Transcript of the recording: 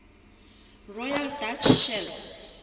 royal dutch shell